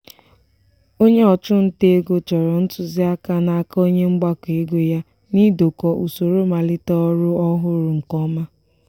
onye ọchụ nta ego chọrọ ntụziaka n'aka onye mgbakọ ego ya n'idokọ usoro malite ọrụ ọhụrụ nke ọma.